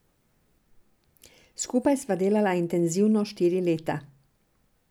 Skupaj sva delala intenzivno štiri leta.